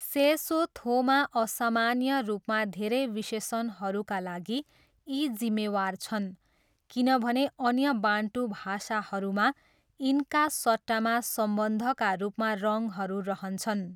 सेसोथोमा असामान्य रूपमा धेरै विशेषणहरूका लागि यी जिम्मेवार छन् किनभने अन्य बान्टू भाषाहरूमा यिनका सट्टामा सम्बन्धका रूपमा रङहरू रहन्छन्।